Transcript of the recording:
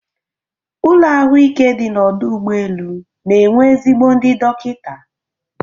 Ụlọ ahụike dị n'ọdụ ụgbọ elu na-enwe ezigbo ndị dọkịta.